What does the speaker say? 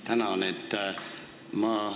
Tänan!